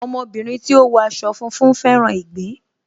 Ọmọ obìnrin tí ó wọ aṣọ funfun fẹ́ràn ìgbín